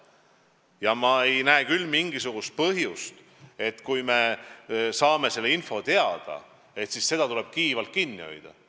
Ja ma ei näe küll mingisugust põhjust saadud infot kiivalt kinni hoida.